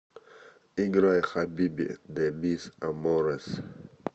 играй хабиби де мис аморес